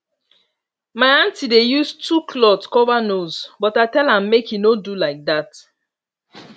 my aunty dey use two cloth cover nose but i tell am make e no do like that